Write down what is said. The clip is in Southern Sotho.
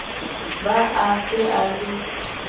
be a se a le